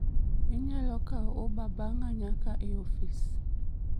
Inyalo kawo Uber bang'a nyaka e ofis